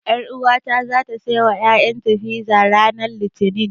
Ƴaruwata zata saiwa ƴaƴanta fiza ranar Litinin.